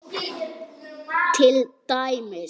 Til dæmis.